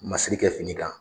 Masiri kɛ fini kan.